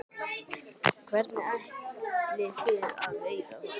Hvernig ætlið þið að veiða þær?